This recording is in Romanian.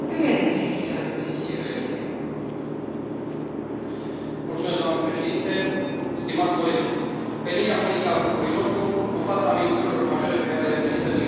Doamnă președintă, stimați colegi, pe linia politică a grupului nostru, în fața amenințărilor majore pe care le prezintă migrația ilegală și terorismul, apreciez ideea de a se întări controalele la frontieră.